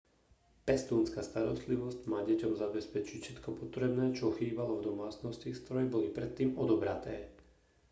pestúnska starostlivosť má deťom zabezpečiť všetko potrebné čo chýbalo v domácnosti z ktorej boli predtým odobraté